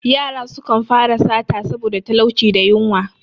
Yara sukan fara sata saboda talauci da yunwa.